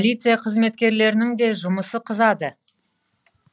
полиция қызметкерлерінің де жұмысы қызады